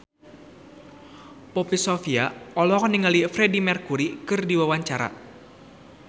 Poppy Sovia olohok ningali Freedie Mercury keur diwawancara